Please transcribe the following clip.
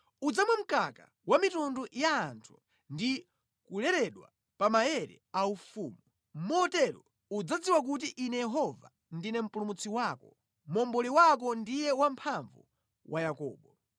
Udzamwa mkaka wa mitundu ya anthu ndi kuleredwa pa maere aufumu, motero udzadziwa kuti Ine Yehova, ndine Mpulumutsi wako, Momboli wako ndiye Wamphamvu wa Yakobo.